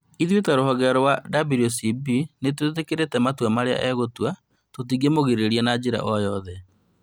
Ithuĩ ta rũhonge rwa WCB nĩtwĩtĩkĩrĩte matua marĩa egũtua, tũkingĩmũgirĩria na njĩra oro yothe